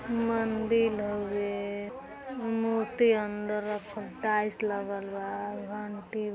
मंदिर हवे मूर्ति अंदल रखल टाइल्स लागल बा घंटी --